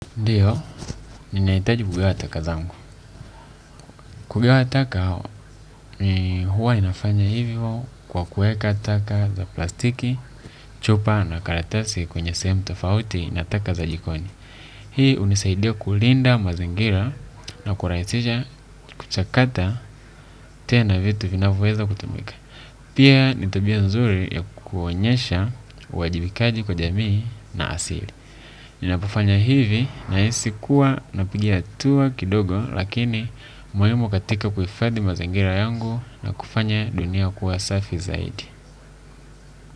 Ndiyo, ninahitaji kugawa taka zangu. Kugawa taka, huwa ninafanya hivyo kwa kuweka taka za plastiki, chupa na karatasi kwenye sehemu tofauti na taka za jikoni. Hii hunisaidia kulinda mazingira na kurahisisha kuchakata tena vitu vinavyoweza kutumika. Pia ni tabia nzuri ya kuonyesha uwajibikaji kwa jamii na asili. Ninapofanya hivi nahisi kuwa napigia hatua kidogo lakini muhimu katika kufadhi mazingira yangu na kufanya dunia kuwa safi zaidi.